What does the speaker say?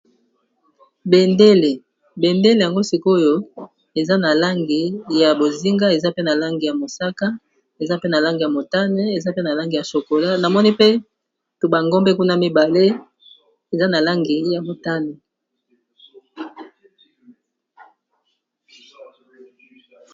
Bendele.. Bendele yango sik'oyo eza na langi ya bozinga, eza pe na langi ya mosaka, eza pe na langi ya motane, eza pe na langi ya chocola . Na moni pe to ba ngombe kuna mibale eza na langi ya motane .